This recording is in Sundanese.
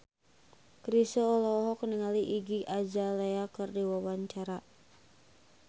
Chrisye olohok ningali Iggy Azalea keur diwawancara